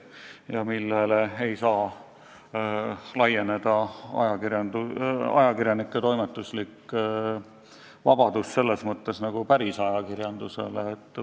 Seega sellele ei saa laieneda ajakirjanike tegevusvabadus nagu päris ajakirjandusele.